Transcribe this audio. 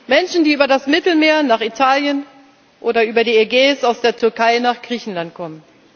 Menschen, die über das Mittelmeer nach Italien oder über die Ägäis aus der Türkei nach Griechenland kommen.